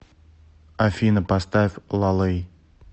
афина поставь ла лэй